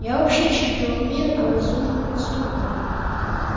я вообще чемпион мира по разумным поступкам